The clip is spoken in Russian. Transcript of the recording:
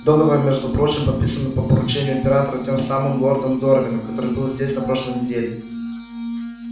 договор между прочим подписан по поручению императора тем самым лордом дорвином который был здесь на прошлой неделе